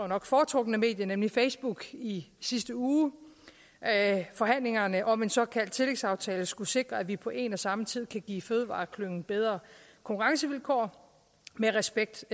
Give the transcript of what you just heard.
nok foretrukne medie nemlig facebook i sidste uge at forhandlingerne om en såkaldt tillægsaftale skulle sikre at vi på en og samme tid kan give fødevareklyngen bedre konkurrencevilkår med respekt